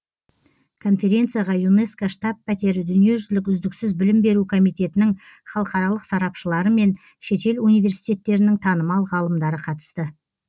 конференцияға юнеско штаб пәтері дүниежүзілік үздіксіз білім беру комитетінің халықаралық сарапшылары мен шетел университеттерінің танымал ғалымдары қатысты